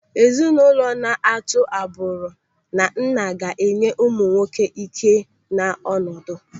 Ezinụlọ na-atụ agbụrụ na nna ga-enye ụmụ nwoke ị́ké na ọnọdụ.